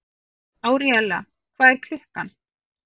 Aríella, hvað er klukkan?